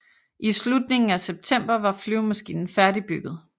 I slutningen af september var flyvemaskinen færdigbygget